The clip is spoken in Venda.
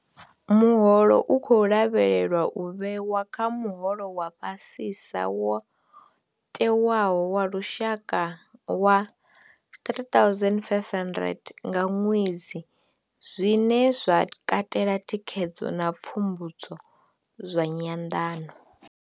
Muholo u khou lavhelelwa u vhewa kha muholo wa fhasisa wo tewaho wa lushaka wa R3 500 nga ṅwedzi, zwine zwa katela thikhedzo na pfumbudzo zwa nyanḓano.